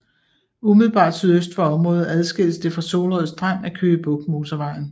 Umiddelbart sydøst for området adskilles det fra Solrød Strand af Køge Bugt Motorvejen